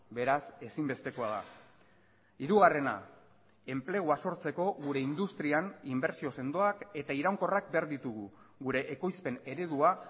beraz ezinbestekoa da hirugarrena enplegua sortzeko gure industrian inbertsio sendoak eta iraunkorrak behar ditugu gure ekoizpen eredua